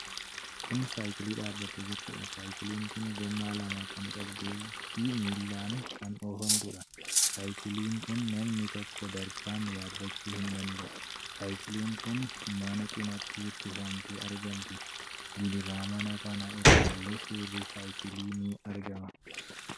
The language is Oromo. Kun saayikilii dhaabattee jirtuudha. Saayikiliin kun gommaa lama kan qabduufi miilaan kan oofamtuudha. Saayikilii kana namni tokko darbaan yaabbachuu hin danda'u. Saayikiliin kun mana cinaatti hirkifamtee argamti. Gidaara mana kanaa irrallee suurri saayikilii ni argama.